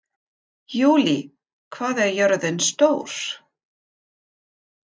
Júlí, hvað er jörðin stór?